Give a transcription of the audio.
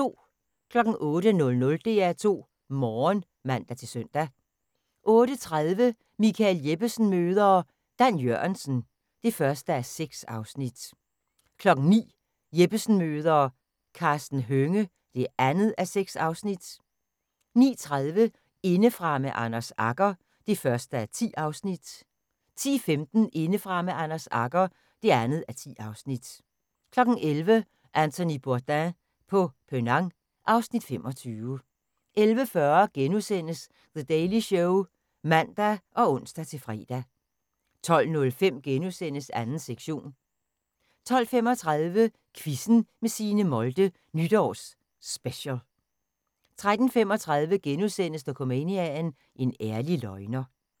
08:00: DR2 Morgen (man-søn) 08:30: Michael Jeppesen møder ... Dan Jørgensen (1:6) 09:00: Jeppesen møder ... Karsten Hønge (2:6) 09:30: Indefra med Anders Agger (1:10) 10:15: Indefra med Anders Agger (2:10) 11:00: Anthony Bourdain på Penang (Afs. 25) 11:40: The Daily Show *(man og ons-fre) 12:05: 2. sektion * 12:35: Quizzen med Signe Molde – Nytårs Special 13:35: Dokumania: En ærlig løgner *